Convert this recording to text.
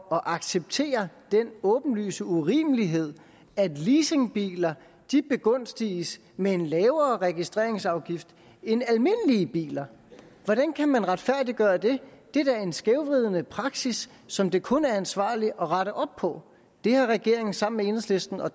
acceptere den åbenlyse urimelighed at leasingbiler begunstiges med en lavere registreringsafgift end almindelige biler hvordan kan man retfærdiggøre det det er da en skævvridende praksis som det kun er ansvarligt at rette op på det har regeringen sammen med enhedslisten og